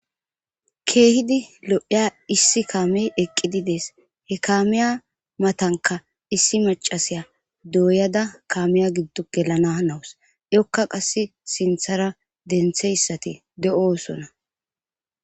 keehidi lo7iya issi kaame eqqididees he kaamiya matanka issi macasiya dooyada kaamiya giddo gelana nawus yokka qass sinthara dentheyssati de7osona